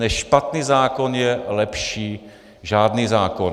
Než špatný zákon je lepší žádný zákon.